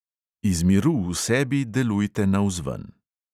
Iz miru v sebi delujete navzven.